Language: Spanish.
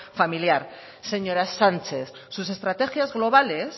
familiar señora sánchez sus estrategias globales